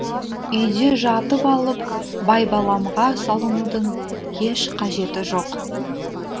үйде жатып алып байбаламға салынудың еш қажеті жоқ